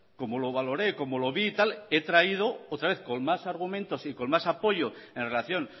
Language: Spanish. como lo valoré como lo vi y tal he traído otra vez con más argumentos y con más apoyos en relación